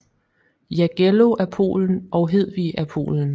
Jagello af Polen og Hedvig af Polen